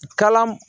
Kalan